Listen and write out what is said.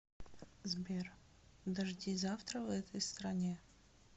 сбер дожди завтра в этой стране